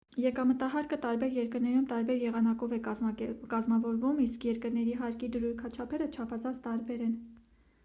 եկամտահարկը տարբեր երկրներում տարբեր եղանակով է կազմավորվում իսկ երկրների հարկի դրույքաչափերը չափազանց տարբեր են